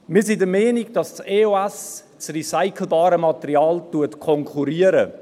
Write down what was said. Wir sind der Meinung, dass die EOS das recycelbare Material konkurriert.